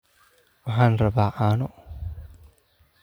waxaan rabaa caano